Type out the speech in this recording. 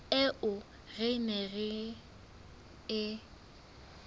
eo re neng re e